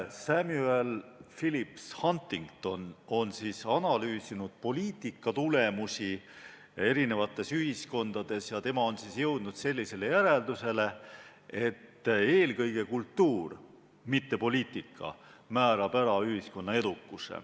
Samuel Phillips Huntington on analüüsinud poliitika tulemusi erinevates ühiskondades ja jõudnud sellisele järeldusele, et eelkõige kultuur, mitte poliitika määrab ära ühiskonna edukuse.